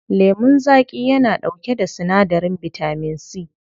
Lemun zaƙi yana ɗauke da sinadarin bitamin C.